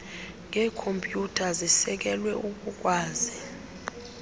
ngeekhompyutha zisekelwe ukukwazi